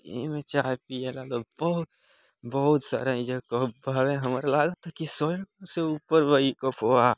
एमे चाय पिये ला लोग बहुत बहुत सारा एजा कप हाई हमरे लगते हाई के स्व के ऊपर वही कप बा ।